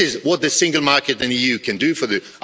This is what the single market and the EU can do for them.